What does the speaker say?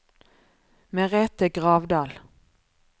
Merete Gravdal